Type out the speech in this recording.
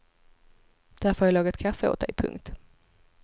Därför har jag lagat kaffe åt dig. punkt